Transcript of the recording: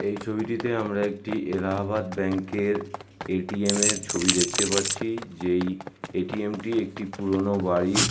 এই ছবিটিতে আমরা একটি এলাহাবাদ ব্যাঙ্ক এর এ.টি.এম এ-র ছবি দেখতে পারছি যে এ.টি.এম -টি একটি পুরোনো বাড়ির--